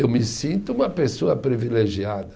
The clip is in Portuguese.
Eu me sinto uma pessoa privilegiada.